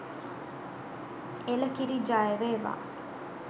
එළකිරි ජයවේවා!